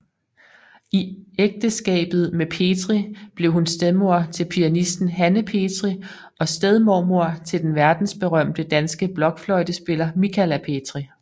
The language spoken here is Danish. I ægteskabet med Petri blev hun stedmor til pianisten Hanne Petri og stedmormor til den verdensberømte danske blokfløjtespiller Michala Petri